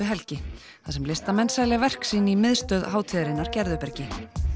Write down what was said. helgi þar sem listamenn selja verk sín í miðstöð hátíðarinnar Gerðubergi